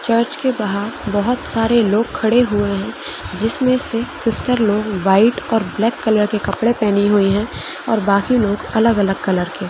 Church के बाहर बहुत सरे लोग खड़े हुए है जिसमे से सिस्टर्स लोग वाइट और ब्लैक कलर के कपड़े पहने हुए है और बाकि लोग अलग अलग कलर के।